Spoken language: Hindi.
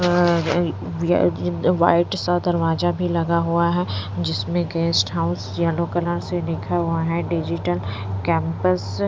व्हाइट सा दरवाजा भी लगा हुआ है जिसमें गेस्ट हाउस येलो कलर से लिखा हुआ है डिजिटल कैंपस --